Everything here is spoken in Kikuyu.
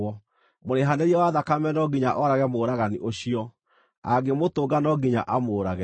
Mũrĩhanĩria wa thakame no nginya oorage mũũragani ũcio; angĩmũtũnga no nginya amũũrage.